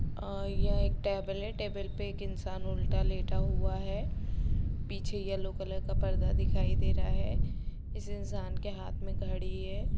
अ यह एक टैबलेट है पे एक इंसान उलटा लेटा हुआ है पीछे येलो कलर का पर्दा दिखाई दे रहा है इस इंसान के हाथ मे घड़ी है।